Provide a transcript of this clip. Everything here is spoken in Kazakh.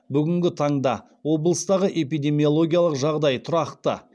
бүгінгі таңда облыстағы эпидемиологиялық жағдай тұрақты